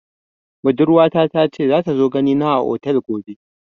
Budurwa ta ta ce za ta zo gani na a otel gobe